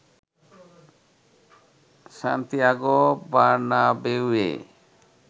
Santiago বার্নাবেউয়ে